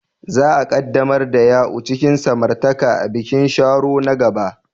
Za a ƙaddamar da Ya'u cikin samartaka a bikin Sharo na gaba.